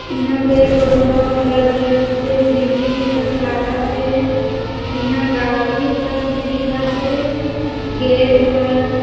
इहा पेड़-पौधा बड़-बड़ से बिल्डिंग ए कस लागत हे इहा गाड़ी कस भी दिखत हे गेट मन --